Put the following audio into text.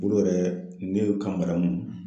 Olu yɛrɛ y, ne ka madamu